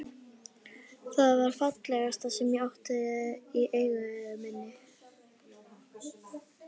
Það var það fallegasta sem ég átti í eigu minni.